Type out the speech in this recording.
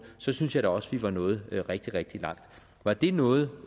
så synes jeg også at vi var nået rigtig rigtig langt var det noget